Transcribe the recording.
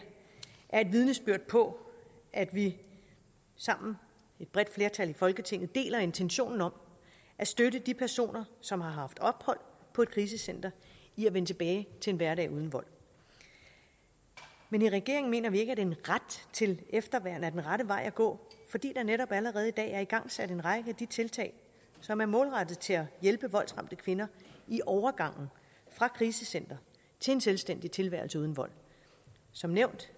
er et vidnesbyrd på at vi sammen et bredt flertal i folketinget deler intentionen om at støtte de personer som har haft ophold på et krisecenter i at vende tilbage til en hverdag uden vold men i regeringen mener vi ikke at en ret til efterværn er den rette vej at gå fordi der netop allerede i dag er igangsat en række af de tiltag som er målrettet til at hjælpe voldsramte kvinder i overgangen fra et krisecenter til en selvstændig tilværelse uden vold som nævnt